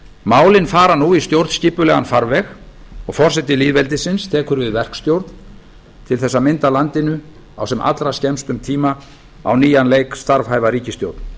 málin fara nú í stjórnskipulegan farveg og forseti lýðveldisins tekur við verkstjórn til að mynda landinu á sem allra skemmstum tíma á nýjan leik starfhæfa ríkisstjórn